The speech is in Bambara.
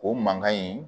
O mankan in